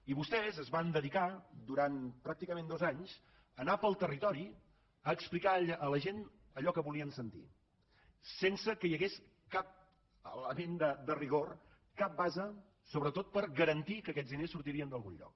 i vostès es van dedicar durant pràcticament dos anys a anar pel territori a explicar a la gent allò que volien sentir sense que hi hagués cap element de rigor cap base sobretot per garantir que aquests diners sortirien d’algun lloc